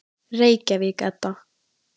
Reykjavík, Edda.